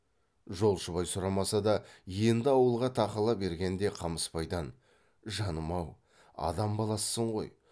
жолшыбай сұрамаса да енді ауылға тақала бергенде қамысбайдан жаным ау адам баласысың ғой